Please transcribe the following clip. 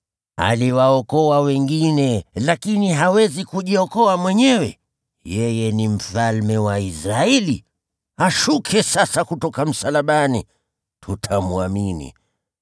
“Aliwaokoa wengine, lakini hawezi kujiokoa mwenyewe! Yeye ni Mfalme wa Israeli! Ashuke sasa kutoka msalabani, nasi tutamwamini.